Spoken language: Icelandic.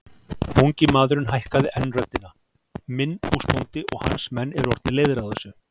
Ungi maðurinn hækkaði enn röddina:-Minn húsbóndi og hans menn eru orðnir leiðir á þessu!